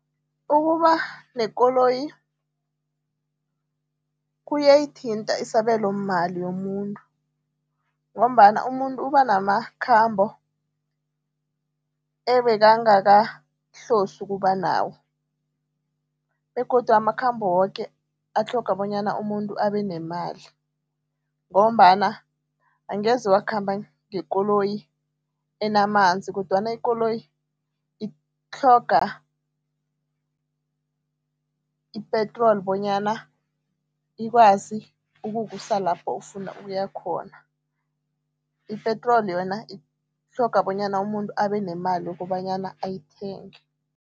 Ukuba nekoloyi kuyayithinta isabelomali yomuntu ngombana umuntu uba namakhambo ebekangakahlosi ukuba nawo begodu amakhambo woke atlhoga bonyana umuntu abe nemali ngombana angeze wakhamba ngekoloyi enamanzi kodwana ikoloyi itlhoga ipetroli bonyana ikwazi ukukusa lapho ufuna ukuya khona. Ipetroli yona itlhoga bonyana umuntu abe nemali kobanyana ayithenge.